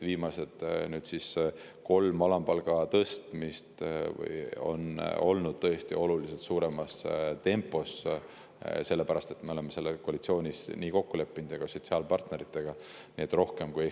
Viimased kolm alampalga tõstmist on toimunud tõesti oluliselt kiiremas tempos, me oleme selle koalitsioonis ja ka sotsiaalpartneritega nii kokku leppinud.